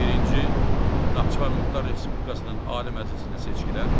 Birinci Naxçıvan Muxtar Respublikasının Ali Məclisinə seçkilər.